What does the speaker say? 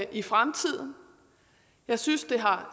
i fremtiden jeg synes at det har